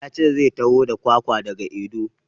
Ya ce zai taho da kwakwa da ga Edo.